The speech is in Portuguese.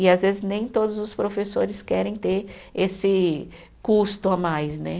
E às vezes nem todos os professores querem ter esse custo a mais, né?